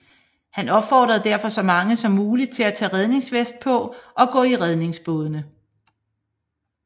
Han opfordrede derfor så mange som mulig til at tage redningsveste på og gå i redningsbådene